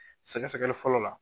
Sɛgɛsɛgɛli fɔlɔ la